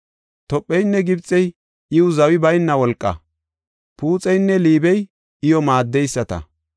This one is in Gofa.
Topheynne Gibxey iw zawi bayna wolqa; Puuxinne Liibey iyo maaddeyisata.